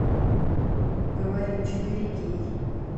говори четыре кей